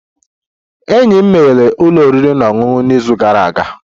Enyi m meghere ụlọ oriri na ọṅụṅụ n'izu gara aga